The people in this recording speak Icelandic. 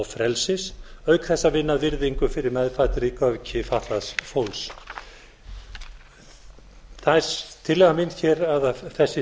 frelsis auk þess að vinna að virðingu fyrir meðfæddri göfgi fatlaðs fólks það er tillaga mín hér að þessi